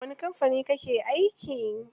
Wani kamfani kake aiki?